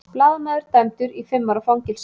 Blaðamaður dæmdur í fimm ára fangelsi